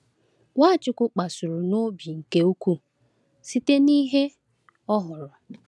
Nwachukwu kpasuru n’obi nke ukwuu site n’ihe o hụrụ.